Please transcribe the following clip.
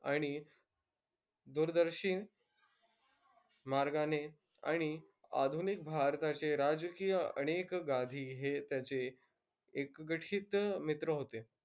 आणि दूरदर्शी मार्गाने अणि आधुनिक भारताचे राजकीय अनेक गाधी हे त्याचे एक गठिथ मित्र होते.